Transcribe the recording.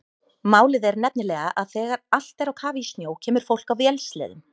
Málið er nefnilega að þegar allt er á kafi í snjó kemur fólk á vélsleðum.